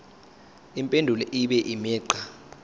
impendulo ibe imigqa